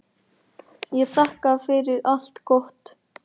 Ég þakka fyrir allt gott.